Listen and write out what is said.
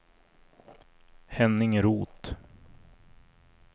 Henning Roth